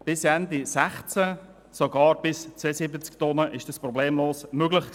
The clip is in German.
Bis Ende 2016 war das sogar für Transporte bis zu 72 Tonnen problemlos möglich.